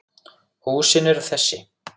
Húsin eru þessi